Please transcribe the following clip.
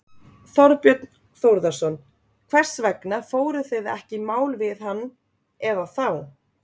Þorbjörn Þórðarson: Hvers vegna fóruð þið ekki í mál við hann eða þá?